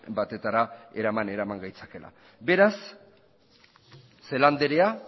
batetara eraman gaitzakeela beraz celaá anderea